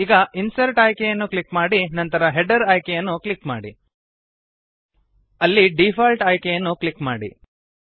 ಈಗ ಇನ್ಸರ್ಟ್ ಆಯ್ಕೆಯನ್ನು ಕ್ಲಿಕ್ ಮಾಡಿ ನಂತರ ಹೆಡರ್ ಆಯ್ಕೆಯನ್ನು ಕ್ಲಿಕ್ ಮಾಡಿ